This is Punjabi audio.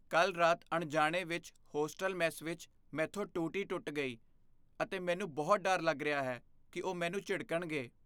ਕੱਲ੍ਹ ਰਾਤ ਅਣਜਾਣੇ ਵਿੱਚ ਹੋਸਟਲ ਮੈੱਸ ਵਿੱਚ ਮੈਂਥੋਂ ਟੂਟੀ ਟੁੱਟ ਗਈ ਅਤੇ ਮੈਨੂੰ ਬਹੁਤ ਡਰ ਲੱਗ ਰਿਹਾ ਹੈ ਕਿ ਉਹ ਮੈਨੂੰ ਝਿੜਕਣਗੇ।